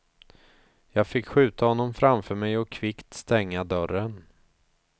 Jag fick skjuta honom framför mig och kvickt stänga dörren.